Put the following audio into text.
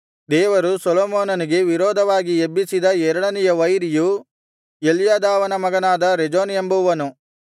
ದೇವರು ಸೊಲೊಮೋನನಿಗೆ ವಿರೋಧವಾಗಿ ಎಬ್ಬಿಸಿದ ಎರಡನೆಯ ವೈರಿಯು ಎಲ್ಯಾದಾವನ ಮಗನಾದ ರೆಜೋನ್ ಎಂಬುವನು